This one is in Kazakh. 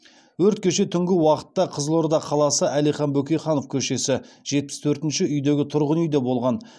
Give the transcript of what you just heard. өрт кеше түнгі уақытта қызылорда қаласы әлихан бөкейханов көшесі жетпіс төртінші үйдегі тұрғын үйде болған